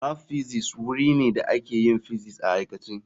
Lab Physics wuri ne da ake yin physics a aikace.